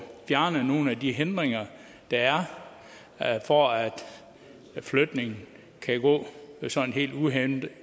fjernet nogle af de hindringer der er for at en flytning kan gå sådan helt